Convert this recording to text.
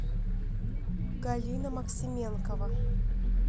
галина максименкова